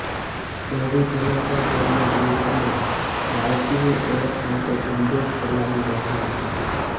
શહેરીજનો પણ તેમના ગ્રૂપમાં બાળકીની ઓળખ માટે ઝુંબેશ ચલાવી રહ્યા છે